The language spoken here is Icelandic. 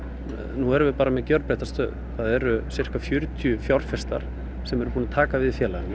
nú erum bara með gjörbreytta stöðu það eru sirka fjörutíu fjárfestar sem eru búnir að taka við félaginu